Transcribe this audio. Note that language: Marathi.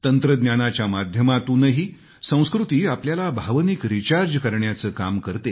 तंत्रज्ञानाच्या माध्यमातूनही संस्कृती आपल्याला भावनिक रिचार्ज करण्याचं काम करते